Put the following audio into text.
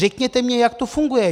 Řekněte mi, jak to funguje.